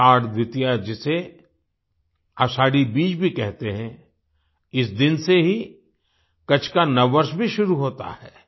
आषाढ़ द्वितीया जिसे आषाढ़ी बिज भी कहते हैं इस दिन से ही कच्छ का नववर्ष भी शुरू होता है